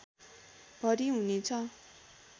भरि हुनेछ